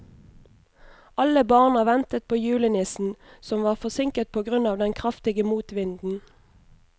Alle barna ventet på julenissen, som var forsinket på grunn av den kraftige motvinden.